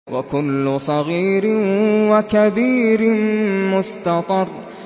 وَكُلُّ صَغِيرٍ وَكَبِيرٍ مُّسْتَطَرٌ